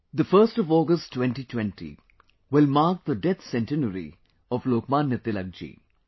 1st August 2020 will mark the death centenary of Lokmanya Tilak ji